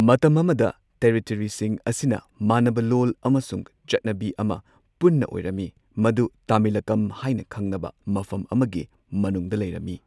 ꯃꯇꯝ ꯑꯃꯗ ꯇꯦꯔꯤꯇꯣꯔꯤꯁꯤꯡ ꯑꯁꯤꯅ ꯃꯥꯟꯅꯕ ꯂꯣꯜ ꯑꯃꯁꯨꯡ ꯆꯠꯅꯕꯤ ꯑꯃ ꯄꯨꯟꯅ ꯑꯣꯏꯔꯝꯃꯤ꯫ ꯃꯗꯨ ꯇꯥꯃꯤꯂꯀꯝ ꯍꯥꯏꯅ ꯈꯪꯅꯕ ꯃꯐꯝ ꯑꯃꯒꯤ ꯃꯅꯨꯡꯗ ꯂꯩꯔꯝꯃꯤ꯫